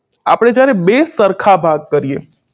આપણે જ્યારે બે સરખા ભાગ કરીએ